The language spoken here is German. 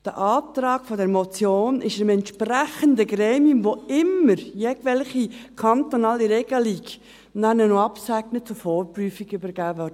Der Antrag der Motion wurde dem entsprechenden Gremium, dem Bundesamt für Sozialversicherungen (BSV), welches immer jegliche kantonalen Regelungen noch absegnet, zur Vorprüfung übergeben.